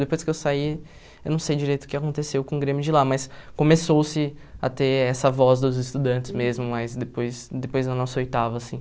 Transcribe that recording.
Depois que eu saí, eu não sei direito o que aconteceu com o Grêmio de lá, mas começou-se a ter essa voz dos estudantes mesmo, mas depois depois da nossa oitava, assim.